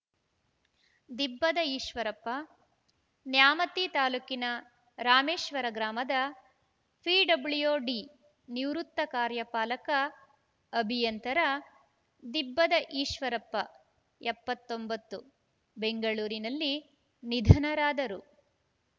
ದಿಬ್ಬದ ಈಶ್ವರಪ್ಪ ನ್ಯಾಮತಿ ತಾಲೂಕಿನ ರಾಮೇಶ್ವರ ಗ್ರಾಮದ ಪಿಡಬ್ಲ್ಯೂಡಿ ನಿವೃತ್ತ ಕಾರ್ಯಪಾಲಕ ಅಭಿಯಂತರ ದಿಬ್ಬದ ಈಶ್ವರಪ್ಪ ಎಪ್ಪತ್ತೊಂಬತ್ತು ಬೆಂಗಳೂರಿನಲ್ಲಿ ನಿಧನರಾದರು